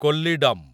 Kollidam